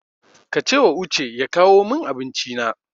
Ka cewa Uche ya kawo min Abinci na.